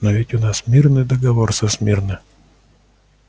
но ведь у нас мирный договор со смирно